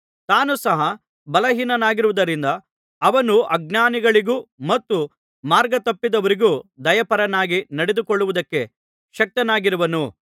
ತಾನೂ ಸಹ ಬಲಹೀನನಾಗಿರುವುದರಿಂದ ಅವನು ಅಜ್ಞಾನಿಗಳಿಗೂ ಮತ್ತು ಮಾರ್ಗತಪ್ಪಿದವರಿಗೂ ದಯಾಪರನಾಗಿ ನಡೆದುಕೊಳ್ಳುವುದಕ್ಕೆ ಶಕ್ತನಾಗಿರುವನು